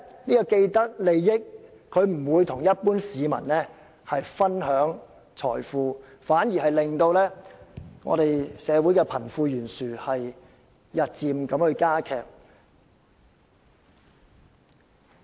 然而，既得利益者不會與一般市民分享財富，反而導致社會貧富懸殊日漸加劇。